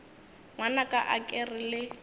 ngwanaka a ke re le